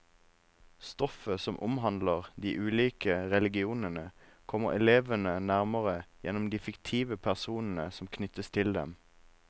Stoffet som omhandler de ulike religionene, kommer elevene nærmere gjennom de fiktive personene som knyttes til dem.